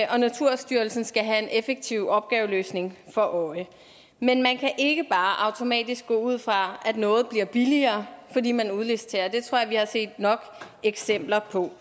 og naturstyrelsen skal have en effektiv opgaveløsning for øje men man kan ikke bare automatisk gå ud fra at noget bliver billigere fordi man udliciterer det tror jeg vi har set nok eksempler på